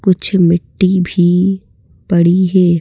कुछ मिट्टी भी पड़ी हैं।